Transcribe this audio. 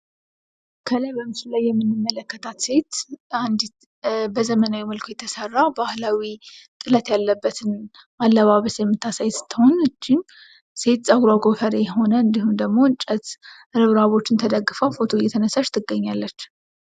ከላይ በምስሉ ላይ የምንመለከታት ሴት በዘመናዊ መልኩ የተሰራ ባህላዊ ጥለት ያለበትን አለባበስ የምታሳይ ስትሆን ሴት ፀጉራ ገፈሬ የሆነ እንዲሁም ደግሞ እንጨት እብራቦችን ተደግፈ ፎቶ እየተነሳሽ ትገኛለች።